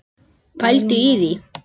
Pældu í því.